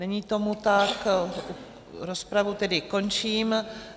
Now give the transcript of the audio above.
Není tomu tak, rozpravu tedy končím.